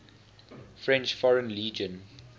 french foreign legion